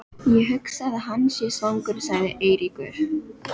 Ég hugsa að hann sé svangur sagði Eiríkur.